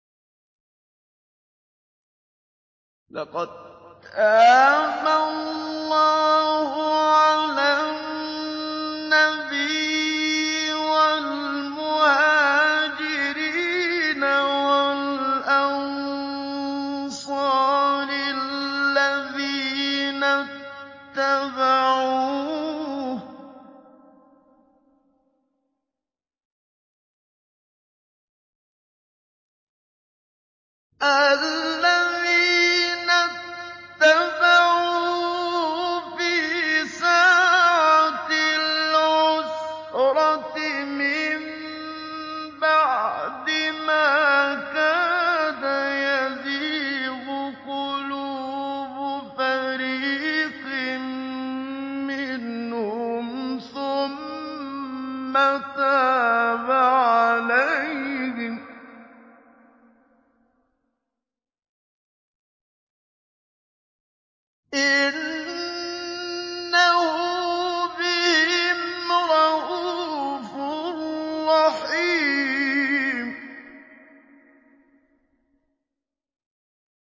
لَّقَد تَّابَ اللَّهُ عَلَى النَّبِيِّ وَالْمُهَاجِرِينَ وَالْأَنصَارِ الَّذِينَ اتَّبَعُوهُ فِي سَاعَةِ الْعُسْرَةِ مِن بَعْدِ مَا كَادَ يَزِيغُ قُلُوبُ فَرِيقٍ مِّنْهُمْ ثُمَّ تَابَ عَلَيْهِمْ ۚ إِنَّهُ بِهِمْ رَءُوفٌ رَّحِيمٌ